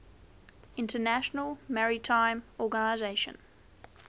international maritime organization